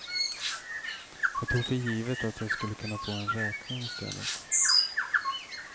Jag tog för givet att jag skulle kunna få en räkning i stället.